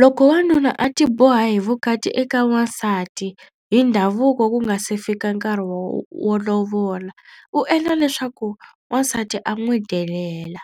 Loko wanuna a tiboha hi vukati eka wansati hi ndhavuko ku nga se fika nkarhi wo wo lovola u endla leswaku wansati a n'wi delela